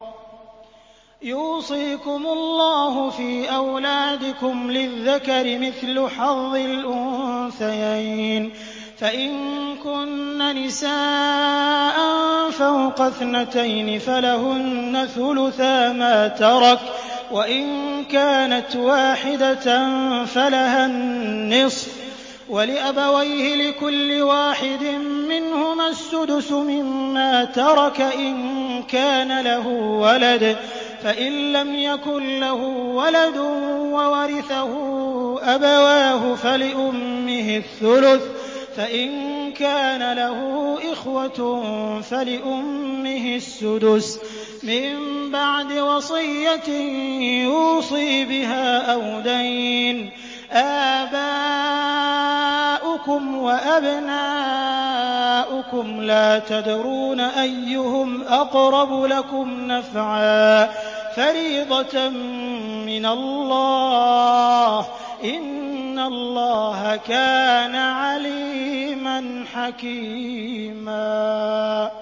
يُوصِيكُمُ اللَّهُ فِي أَوْلَادِكُمْ ۖ لِلذَّكَرِ مِثْلُ حَظِّ الْأُنثَيَيْنِ ۚ فَإِن كُنَّ نِسَاءً فَوْقَ اثْنَتَيْنِ فَلَهُنَّ ثُلُثَا مَا تَرَكَ ۖ وَإِن كَانَتْ وَاحِدَةً فَلَهَا النِّصْفُ ۚ وَلِأَبَوَيْهِ لِكُلِّ وَاحِدٍ مِّنْهُمَا السُّدُسُ مِمَّا تَرَكَ إِن كَانَ لَهُ وَلَدٌ ۚ فَإِن لَّمْ يَكُن لَّهُ وَلَدٌ وَوَرِثَهُ أَبَوَاهُ فَلِأُمِّهِ الثُّلُثُ ۚ فَإِن كَانَ لَهُ إِخْوَةٌ فَلِأُمِّهِ السُّدُسُ ۚ مِن بَعْدِ وَصِيَّةٍ يُوصِي بِهَا أَوْ دَيْنٍ ۗ آبَاؤُكُمْ وَأَبْنَاؤُكُمْ لَا تَدْرُونَ أَيُّهُمْ أَقْرَبُ لَكُمْ نَفْعًا ۚ فَرِيضَةً مِّنَ اللَّهِ ۗ إِنَّ اللَّهَ كَانَ عَلِيمًا حَكِيمًا